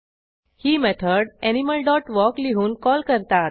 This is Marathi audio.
ही मेथड एनिमल डॉट वॉक लिहून कॉल करतात